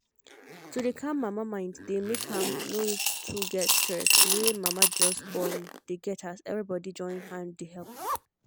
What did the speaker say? to dey calm mama mind dey make am no too get stress wey mama wey just born dey get as everybody join hand dey help